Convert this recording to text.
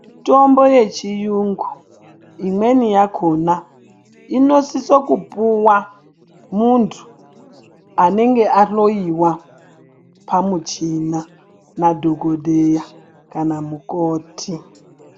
Mitombo yechirungu imweni yakona Inosisa kupuwa muntu anenge ahloiwa pamuchina madhokodheya kana mukoti.